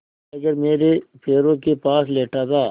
tiger मेरे पैरों के पास लेटा था